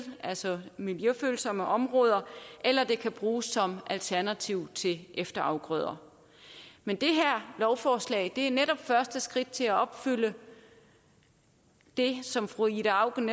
altså miljøfølsomme områder eller det kan bruges som alternativ til efterafgrøder men det her lovforslag er netop et første skridt til at opfylde det som fru ida auken